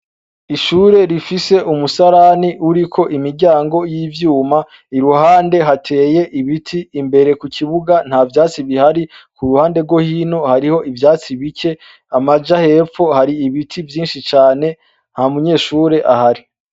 Ishure rifise umusarani uriko imiryango y'ivyuma iruhande hateye ibiti imbere ku kibuga nta vyatsi bihari ku ruhande rwo hino hariho ivyatsi bike amaja hepfo hari ibiti vyinshi cane nha munyeshure ahari.